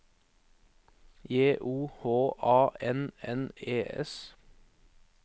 J O H A N N E S